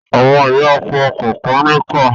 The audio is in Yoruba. Àwọn ìyá ọkọ kànkan níkà.